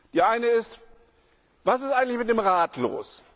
Die eine ist Was ist eigentlich mit dem Rat los?